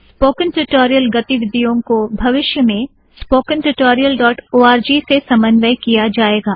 spoken tutorial गतिविधियों को भविष्य में spoken tutorial dot O R G spoken tutorial O R G से समन्वय किया जाएगा